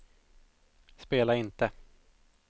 spela inte